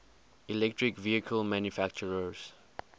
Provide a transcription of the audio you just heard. electric vehicle manufacturers